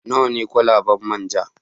Nawa ne kwalabar man ja?